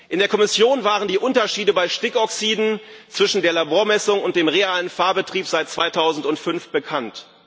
In der Kommission waren die Unterschiede bei Stickoxiden zwischen der Labormessung und im realen Fahrbetrieb seit 2005 bekannt.